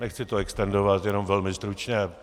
Nechci to extendovat, jenom velmi stručně.